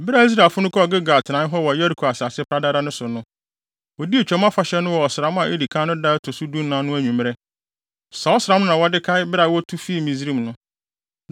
Bere a Israelfo no wɔ Gilgal atenae hɔ wɔ Yeriko asase pradada no so no, wodii Twam Afahyɛ no wɔ ɔsram a edi kan no da a ɛto so dunan no anwummere. Saa ɔsram no na wɔde kae bere a wotu fii Misraim no.